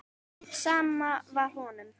Sama var honum.